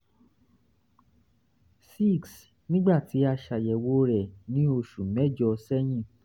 6 nígbà tí a ṣàyẹ̀wò rẹ̀ ní oṣù mẹ́jọ̀ sẹ́yìn